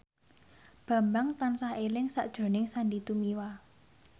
Bambang tansah eling sakjroning Sandy Tumiwa